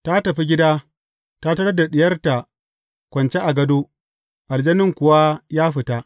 Ta tafi gida, ta tarar da diyarta kwance a gado, aljanin kuwa ya fita.